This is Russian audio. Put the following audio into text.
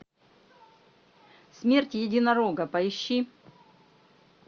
смерть единорога поищи